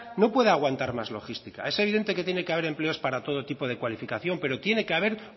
no puede aguantar más logística es evidente que tiene que haber empleos para todo tipo de cualificación pero tiene que haber